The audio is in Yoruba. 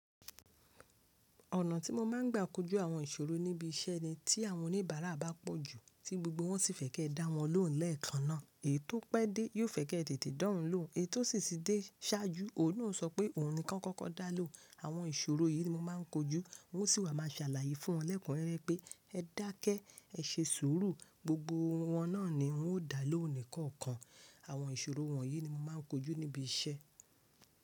Ọ̀nà tí mo máa ń gbà kojú àwọn ìṣòro níbi iṣẹ́ ni tí àwọn oníbàárà bá pọ̀ jú, tí gbogbo wọn sì fẹ́ kí ẹ dá wọn lóhùn lẹ́ẹ̀kan náà, èyí tó pẹ́ dé yóò fẹ́ kí ẹ tètè dá òun lóhùn, èyí tó sì ti dé ṣáájú òun náà o sọ pé òun nìkan kọ́kọ́ dá lóhùn. Àwọn ìṣòro yìí ni mo máa ń kojú, wọ́n sì wà máa ṣàlàyé fún wọn lẹ́kunrerẹ pé ẹ dákẹ́, ẹ ṣe sùúrù, gbogbo won náà ni wọ́n ó dá lóhùn nìkan kan. Àwọn ìṣòro wọ̀nyí ni mo máa ń kojú níbi iṣẹ́.